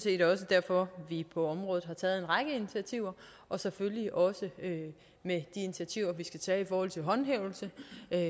set også derfor at vi på området har taget en række initiativer og selvfølgelig også med de initiativer vi skal tage i forhold til håndhævelse